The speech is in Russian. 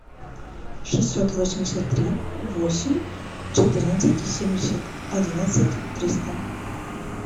шестьсот восемьдесят три восемь четырнадцать семьдесят одиннадцать триста